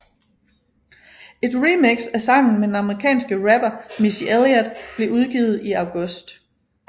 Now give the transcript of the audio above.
Et remix af sangen med den amerikanske rapper Missy Elliot blev udgivet i august